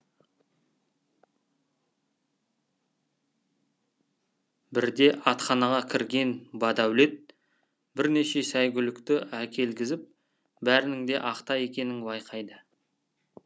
бірде атханаға кірген бадәулет бірнеше сәйгүлікті әкелгізіп бәрінің де ахта екенін байқайды